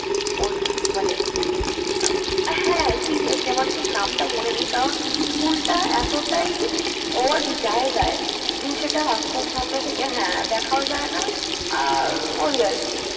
ওর মানে, হ্যাঁ seriously আমার ঠিক নামটা মনে নেই কারণ school টা এতোটাই odd জায়গায়, যে সেটা রাস্তার সামনে থেকে হ্যাঁ দেখাও যায় না আর ওই আর কি।